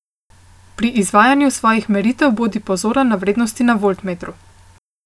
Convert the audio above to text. Pri izvajanju svojih meritev bodi pozoren na vrednosti na voltmetru.